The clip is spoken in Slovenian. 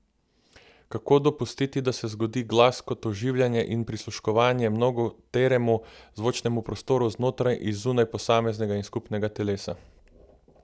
Kako dopustiti, da se zgodi glas kot oživljanje in prisluškovanje mnogoteremu zvočnemu prostoru znotraj in zunaj posameznega in skupnega telesa?